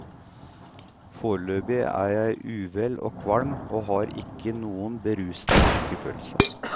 Foreløpig er jeg uvel og kvalm og har ikke noen berusende lykkefølelse.